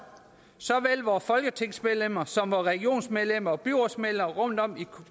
såvel vore folketingsmedlemmer som vore regionsmedlemmer og byrådsmedlemmer rundt om